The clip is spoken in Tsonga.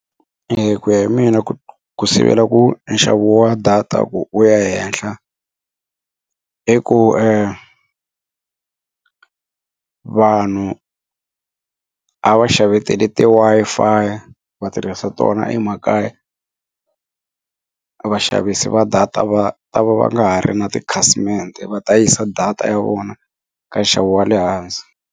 ku ya hi mina ku ku sivela ku nxavo wa data ku wu ya henhla i ku vanhu a va xavetela ti Wi-Fi va tirhisa tona emakaya vaxavisi va data va ta va va nga ha ri na tikhasimende va ta yisa data ya vona ka nxavo wa le hansi.